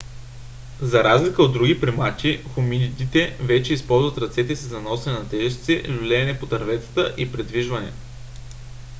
за разлика от други примати хоминидите вече използват ръцете си за носене на тежести люлеене по дърветата и придвижване